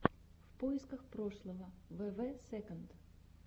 в поисках прошлого вв сэконд